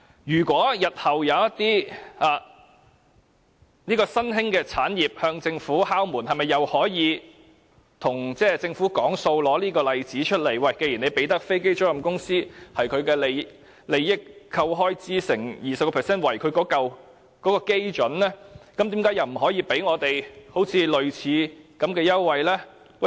如果日後有一些新興產業向政府敲門，是否可以以這例子與政府談判，表示政府既然向飛機租賃公司提供優惠，以他們的利益裏扣除開支後，再乘以 20% 為基準，為甚麼不可以提供我們類似的優惠？